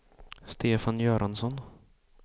Stefan Göransson